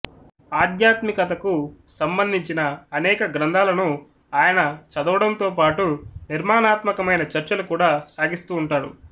ఆధ్యాత్మికతకు సంబంధించిన అనేక గ్రంథాలను ఆయన చదవడంతో పాటు నిర్మాణాత్మకమైన చర్చలు కూడా సాగిస్తూ ఉంటాడు